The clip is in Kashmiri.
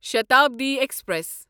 شتابڈی ایکسپریس